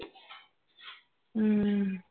ਹਮ